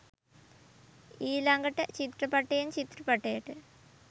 ඊළගට චිත්‍රපටයෙන් චිත්‍රපටයට